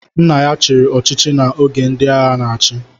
Nna ya chiri ọchịchị na oge ndị agha n'achi